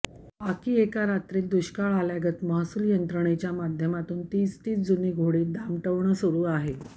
बाकी एका रात्रीत दुष्काळ आल्यागत महसूल यंत्रणेच्या माध्यमातून तीच तीच जुनी घोडी दामटवणं सुरू आहे